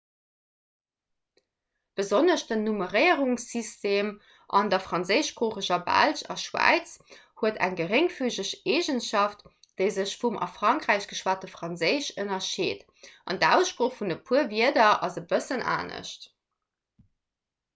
besonnesch de nummeréierungssystem an der franséischsproocheger belsch a schwäiz huet eng geréngfügeg eegenschaft déi sech vum a frankräich geschwate franséisch ënnerscheet an d'aussprooch vun e puer wierder ass e bëssen anescht